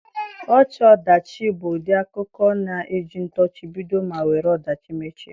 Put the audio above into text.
Ọchị-ọdachi bụ ụdị akụkọ na-eji ntọchi bido ma were ọdachi mechie.